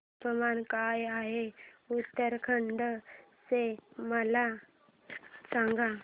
तापमान काय आहे उत्तराखंड चे मला सांगा